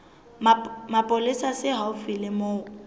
mapolesa se haufi le moo